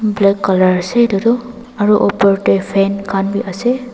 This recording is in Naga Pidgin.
black colour ase etu toh aru opor te fan khan bi ase.